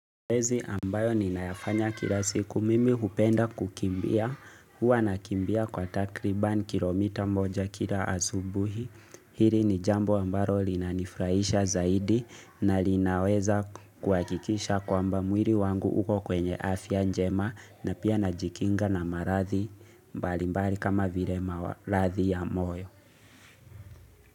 Zoezi ambayo ninafanya kila siku mimi hupenda kukimbia Huwa nakimbia kwa takriban kilomita moja kila asubuhi Hili ni jambo ambalo linanifurahisha zaidi na linaweza kuhakikisha kwamba mwili wangu uko kwenye afya njema na pia najikinga na maradhi mbalimbali kama vile maradhi ya moyo.